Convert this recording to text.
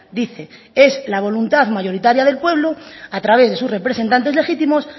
dice es la voluntad mayoritaria del pueblo a través de sus representantes legítimos